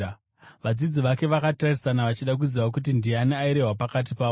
Vadzidzi vake vakatarisana vachida kuziva kuti ndiani airehwa pakati pavo.